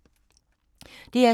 DR2